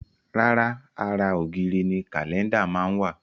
Rárá, ara ògiri ni Kálẹ́ndà máa ń wà